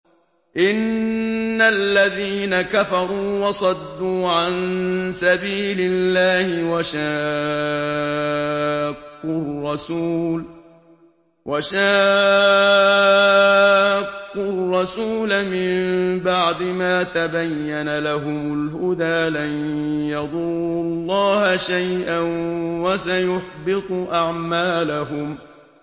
إِنَّ الَّذِينَ كَفَرُوا وَصَدُّوا عَن سَبِيلِ اللَّهِ وَشَاقُّوا الرَّسُولَ مِن بَعْدِ مَا تَبَيَّنَ لَهُمُ الْهُدَىٰ لَن يَضُرُّوا اللَّهَ شَيْئًا وَسَيُحْبِطُ أَعْمَالَهُمْ